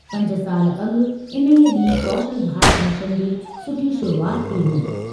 पंज साल अॻु इन्हीअ ॾींहुं कौशल भारत मिशन जी सुठी शुरूआति थी हुई।